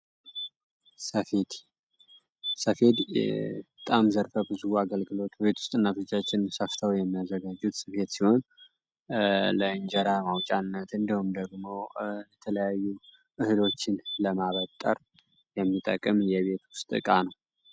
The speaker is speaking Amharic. ሰፌድ በጣም ዘርፈ ብዙ አገልግሎት ቤት ውስጥ እና ፍርቻችን ሰፍታዊ የሚዘጋጁት ስፊት ሲሆን ለእንጀራ ማውጫነት እንደሆም ደግሞ የተለያዩ እህሎችን ለማበጠር የሚጠቅም የቤት ውስጥ ዕቃ ነው፡፡